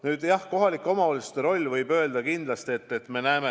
Nüüd kohalike omavalitsuste rollist.